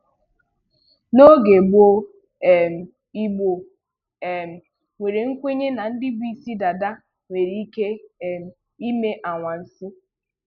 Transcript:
N'oge gbóó, um Igbo um nwere nkwenye na ndị bu ísí dàdá nwere ike um ime anwansi